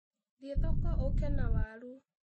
Thiĩ thoko ũũke na waru.